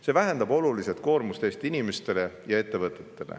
See vähendab oluliselt koormust Eesti inimestele ja ettevõtetele.